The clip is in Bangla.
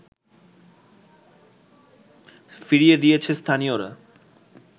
ফিরিয়ে দিয়েছে স্থানীয়রা